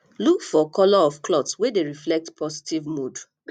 look for color of cloth wey dey reflect positive mood